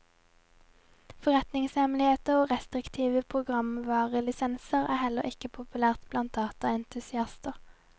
Forretningshemmeligheter og restriktive programvarelisenser er heller ikke populære blant dataentusiaster.